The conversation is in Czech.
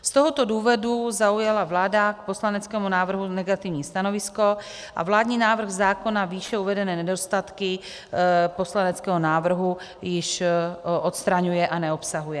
Z tohoto důvodu zaujala vláda k poslaneckému návrhu negativní stanovisko a vládní návrh zákona výše uvedené nedostatky poslaneckého návrhu již odstraňuje a neobsahuje.